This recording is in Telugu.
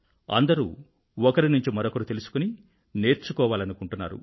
అందరూ ఒకరి నుండి మరొకరు తెలుసుకొని నేర్చుకోవాలనుకుంటున్నారు